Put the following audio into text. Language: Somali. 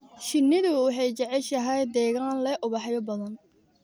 Shinnidu waxay jeceshahay deegaan leh ubaxyo badan.